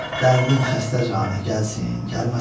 Dərdin xəstəcanə gəlsin, gəlməsin.